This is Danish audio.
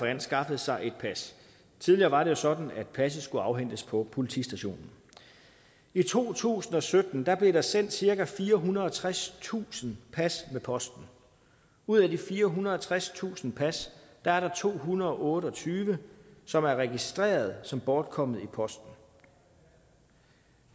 anskaffe sig et pas tidligere var det jo sådan at passet skulle afhentes på politistationen i to tusind og sytten blev der sendt cirka firehundrede og tredstusind pas med posten ud af de firehundrede og tredstusind pas er der to hundrede og otte og tyve som er registreret som bortkommet i posten